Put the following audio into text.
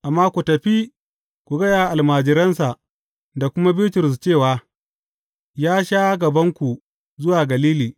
Amma ku tafi ku gaya wa almajiransa da kuma Bitrus cewa, Ya sha gabanku zuwa Galili.